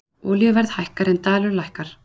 Olíuverð hækkar en dalur lækkar